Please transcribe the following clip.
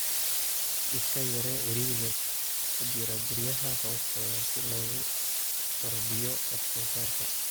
Iska yaree ciriiriga ku jira guryaha hoostooda si loo kordhiyo wax soo saarka.